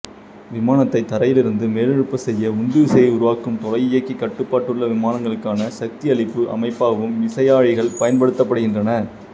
விமானத்தை தரையிலிருந்து மேலெழும்பச் செய்ய உந்துவிசையை உருவாக்கும் தொலை இயக்கி கட்டுப்பாடுள்ள விமானங்களுக்கான சக்தியளிப்பு அமைப்பாகவும் விசையாழிகள் பயன்படுத்தப்படுகின்றன